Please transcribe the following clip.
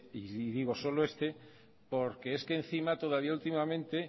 y digo solo este porque es que encima todavía últimamente